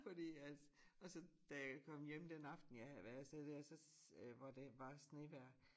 Fordi at og så da jeg kom hjem den aften jeg havde været afsted dér så hvor det var snevejr